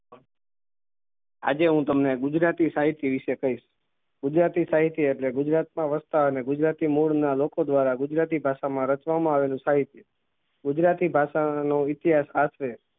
આજે હું તમને ગુજરાતી સાહિત્ય વિષે કહીસ ગુજરાતી સાહિત્ય એટલે ગુજરાત માં વસતા અને ગુજરાતી મૂળ ના લોકો દ્વારા ગુજરાતી ભાષા માં રચવા મા આવેલું સાહિત્ય ગુજરાતી ભાષા નું ઈતિહાસ આ છે